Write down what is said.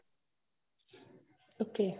okay